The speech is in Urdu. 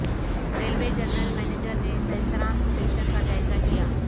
ریلوے جنرل منیجر نے سہسرام اسٹیشن کا جائزہ لیا